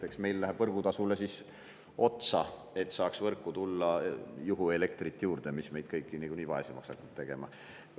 Eks meil läheb võrgutasule siis otsa, et võrku saaks juurde tulla juhuelektrit, mis niikuinii hakkab meid kõiki vaesemaks tegema.